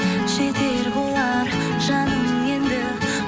жетер болар жаным енді